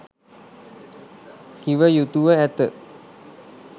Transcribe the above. කිව යුතුව ඇත.